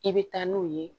I bɛ taa n'u ye